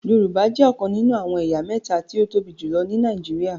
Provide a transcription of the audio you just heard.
Yorùbá jẹ ọkàn nínú àwọn ẹ̀yà méta tí o tóbi jùlọ ní Nàìjíríà